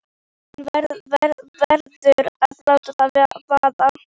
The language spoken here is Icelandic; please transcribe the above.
Hún verður að láta það vaða.